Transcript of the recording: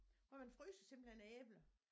Hvor man fryser simpelthen æ æbler